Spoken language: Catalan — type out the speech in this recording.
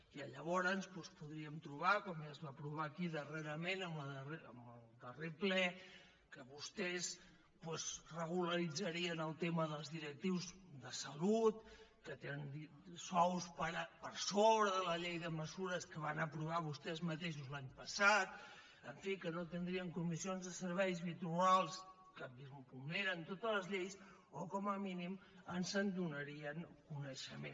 i llavors doncs podríem trobar com ja es va aprovar aquí darrerament en el darrer ple que vostès doncs regularitzarien el tema dels directius de salut que tenen sous per sobre de la llei de mesures que van aprovar vostès mateixos l’any passat en fi que no tindrien comissions de serveis i trobar los que vulneren totes les lleis o com a mínim ens en donarien coneixement